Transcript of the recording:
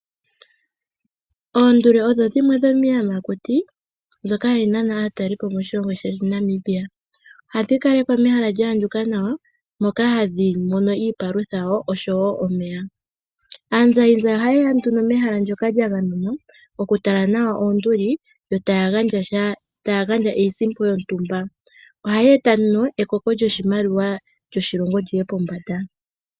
Oonduli odho dhimwe dhomiiyamakuti mbyoka ha yi nana aatalelipo moshilongo shetu Namibia. Oha dhi kalekwa mehala lya ya ndjuka nawa, moka ha dhi mono iipalutha nosho wo omeya. Aanzayizayi ohayeya nduno mehala nlyoka lya gamenwa, oku tala nawa oonduli, yo taya gandja iisimpo yontumba. Oha shi eta ekoko lyoshimaliwa lyi ye pombanda.